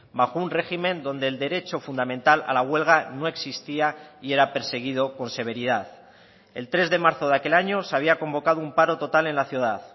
bajo un régimen donde el derecho fundamental a la huelga no existía y era perseguido con severidad el tres de marzo de aquel año se había convocado un paro total en la ciudad